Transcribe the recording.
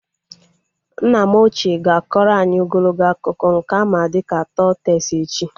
Nna m ochie ga-akọrọ anyị ogologo akụkọ nke a ma dịka tọl tees echi